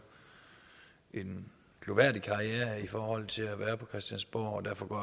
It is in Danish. en glorværdig karriere i forhold til at være på christiansborg og derfor går